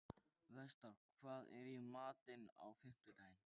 Vestar, hvað er í matinn á fimmtudaginn?